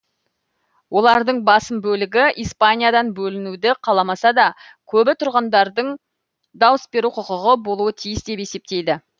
олардың басым бөлігі испаниядан бөлінуді қаламаса да көбі тұрғындардың дауыс беру құқығы болуы тиіс деп есептейді